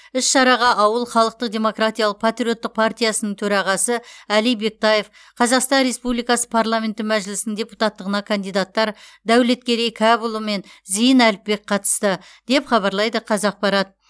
іс шараға ауыл халықтық демократиялық патриоттық партиясының төрағасы әли бектаев қазақстан республикасы парламенті мәжілісінің депутаттығына кандидаттар дәулеткерей кәпұлы мен зейін әліпбек қатысты деп хабарлайды қазақпарат